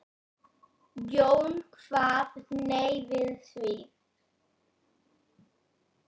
Jón kvað nei við því.